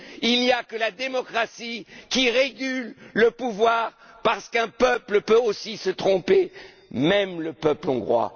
Il n'y a que la démocratie qui régule le pouvoir parce qu'un peuple peut aussi se tromper, même le peuple hongrois.